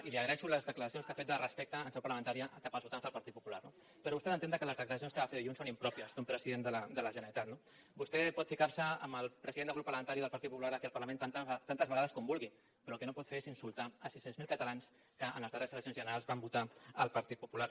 i li agraeixo les declaracions que ha fet de respecte en seu parlamentària cap als votants del partit popular no però vostè ha d’entendre que les declaracions que va fer dilluns són impròpies d’un president de la generalitat no vostè pot ficar se amb el president del grup parlamentari del partit popular aquí al parlament tantes vegades com vulgui però el que no pot fer és insultar sis cents miler catalans que en les darreres eleccions generals van votar el partit popular